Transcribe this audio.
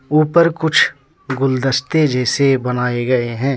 ऊपर कुछ गुलदस्ते जैसे बनाए गए हैं।